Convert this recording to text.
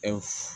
E